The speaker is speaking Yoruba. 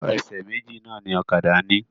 Ẹsẹ̀ méjì náà ni ọ̀kadà ni.